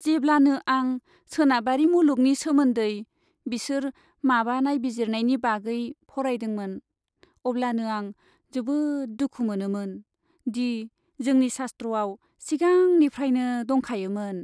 जेब्लानो आं सोनाबारि मुलुगनि सोमोन्दै बिसोर माबा नायबिजिरनायनि बागै फरायदोंमोन अब्लानो आं जोबोद दुखु मोनोमोन दि जोंनि शास्त्रआव सिगांनिफ्राइनो दंखायोमोन।